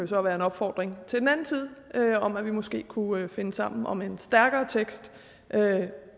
så være en opfordring til den anden side om at vi måske kunne finde sammen om en stærkere tekst